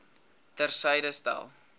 ter syde stel